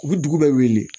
U bɛ dugu bɛɛ weele